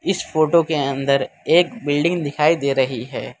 इस फोटो के अंदर एक बिल्डिंग दिखाई दे रही है।